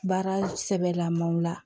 Baara sɛbɛlaman la